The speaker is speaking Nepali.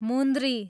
मुन्द्री